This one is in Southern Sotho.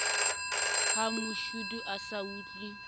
ha mashodu a sa otlwe